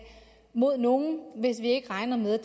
mod nogen hvis vi ikke regner med at